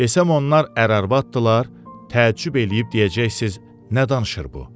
Desəm onlar ər-arvaddırlar, təəccüb eləyib deyəcəksiz nə danışır bu?